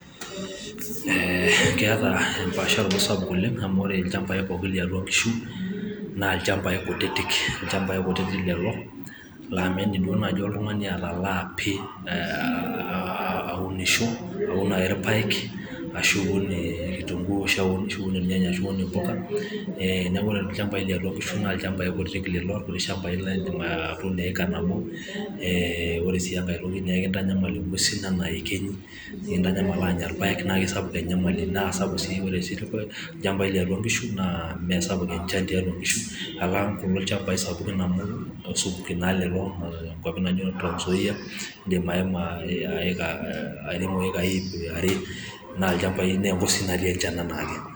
Ee, keeta empaashoroto SAPUK oleng' amu ore ilnchampai pookin liatua enkishu naa ilnchampai kutitik, ilnchampai kutitik lelo, laa meidim duo naaji iltung'ani atalaa pi aa aaa aunisho aun naii irpaek ashu eun kitunguu ashu eun irnyanya ashu eun empuka neaku ore ilnchampai liatua inkishu naa ilnchampai kutitik lelo irkuti shampai laa eidim atuuno eyaka nabo ee ore sii engae toki naa aikintanyamal entokiti sidan naa ekiny' nikintanyamal aanya irpaek naa kisapuk enyamali naa kesapuk ore sii ilnchampai liatua inkishu naa Mee sapuk enchan tiatua inkishu alang' kulo shampai sapuki amu esupuki naa lelo enkuapi naijio transzoia eedim airemo eyakai iip' are naa elnchampai Enkop sii natii enchan enaa ake.